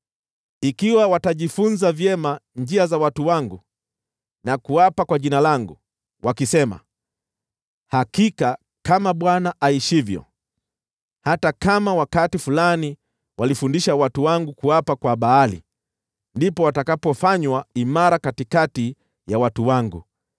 Ikiwa watajifunza vyema njia za watu wangu na kuapa kwa Jina langu, wakisema, ‘Hakika kama Bwana aishivyo,’ hata kama wakati fulani walifundisha watu wangu kuapa kwa Baali, ndipo watakapofanywa imara katikati ya watu wangu.